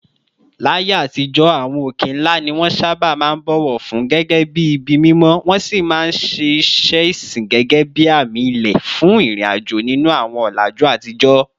Láyé àtijọ́, àwọn òkè ńlá ni wọ́n sábà máa ń bọ̀wọ̀ fún gẹ́gẹ́ bí ibi mímọ́, wọ́n sì máa ń ṣe iṣẹ́ ìsìn gẹ́gẹ́ bí àmì ilẹ̀ fún ìrìnàjò nínú àwọn ọ̀làjú àtijọ́.